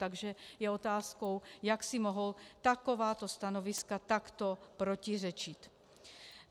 Takže je otázkou, jak si mohou takováto stanoviska takto protiřečit.